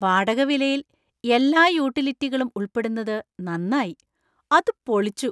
വാടക വിലയിൽ എല്ലാ യൂട്ടിലിറ്റികളും ഉൾപ്പെടുന്നത് നന്നായി. അത് പൊളിച്ചു.